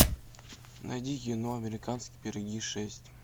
найди кино американские пироги шесть